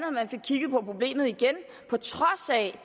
at man fik kigget på problemet igen på trods af at